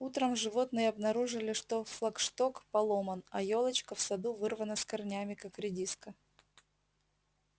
утром животные обнаружили что флагшток поломан а ёлочка в саду вырвана с корнями как редиска